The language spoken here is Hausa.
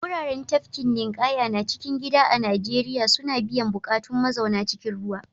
Wuraren tafkin ninƙaya na cikin gida a Najeriya suna biyan buƙatun mazauna cikin ruwa.